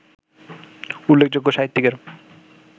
উল্লেখযোগ্য সাহিত্যিকের